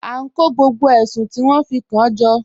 A n kọ gbogbo èṣùn ti wọn fi kan jọ.